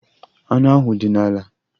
Anụ ahụ dị n'ala.